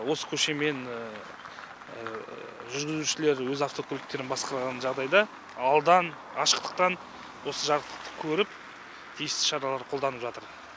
осы көшемен жүргізушілер өз автокөліктерін басқарған жағдайда алдан ашықтықтан осы жарықтықты көріп тиісті шаралар қолданып жатыр